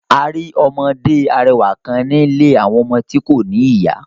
A ri ọmọde arẹwa kan ni ìlé awọn ọmọ ti ko ni iya